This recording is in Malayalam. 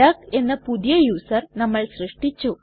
ഡക്ക് എന്ന പുതിയ യുസർ നമ്മൾ സൃഷ്ടിച്ചു